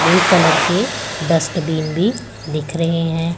Blue colour के dustbin भी दिख रहे हैं।